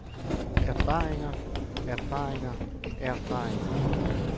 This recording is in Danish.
erfaringer erfaringer erfaringer